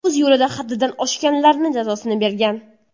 O‘z yo‘lida haddidan oshganlarni jazosini bergan.